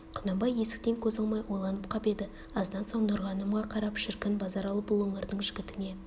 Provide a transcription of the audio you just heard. құнанбай есіктен көз алмай ойланып қап еді аздан соң нұрғанымға қарап шіркін базаралы бұл өңірдің жігітіне